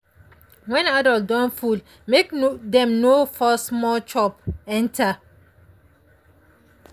when adult don full make dem no force more chop enter.